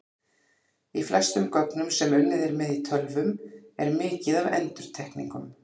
Í flestum gögnum sem unnið er með í tölvum er mikið af endurtekningum.